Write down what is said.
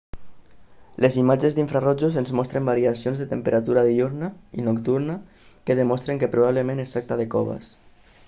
les imatges d'infrarojos ens mostren variacions de temperatura diürna i nocturna que demostren que probablement es tracta de coves